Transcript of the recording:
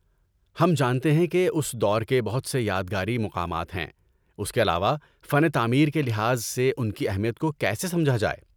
ہم جانتے ہیں کہ اس دور کے بہت سے یادگاری مقامات ہیں۔ اس کے علاوہ فن تعمیر کے لحاظ سے ان کی اہمیت کو کیسے سمجھا جائے؟